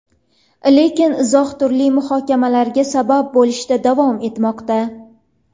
Lekin izoh turli muhokamalarga sabab bo‘lishda davom etmoqda.